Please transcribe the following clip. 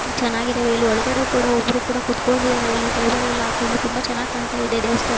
ಚೆನಾಗಿದಾವೆ ಇಲ್ಲಿ ಒಳಗಡೆ ಕೂಡ ಕುತ್ಕೊಂಡಿದ್ದಾರೆ ಇಲ್ಲಿ ಟೇಬಲ್ ಎಲ್ಲಾ ಹಾಕೊಂಡು ತುಂಬಾ ಚೆನ್ನಾಗ್ ಕಾಂತ ಇದೆ ದೇವಸ್ಥಾನ.